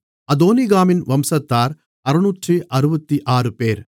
அதோனிகாமின் வம்சத்தார் 666 பேர்